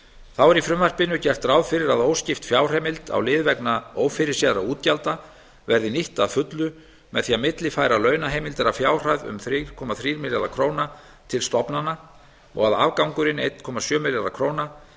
þá er í frumvarpinu gert ráð fyrir að óskipt fjárheimild á lið vegna ófyrirséðra útgjalda verði nýtt að fullu með því að millifæra launaheimildir að fjárhæð um þrjú komma þrjá milljarða króna til stofnana og að afgangurinn einn komma sjö milljarðar króna